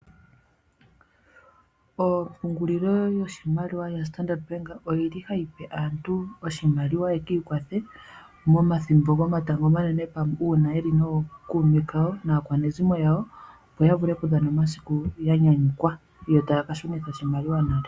Ompungulilo yoshimaliwa yoStandard bank ohayi pe aantu oshimaliwa ye kiikwathe pomathimbo gomatango omanene, opo ya kadhane omathimbo ya nyanyukwa pamwe nookume kawo naakwanezimo yo taya kashunitha oshimaliwa nale.